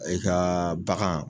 I ka bagan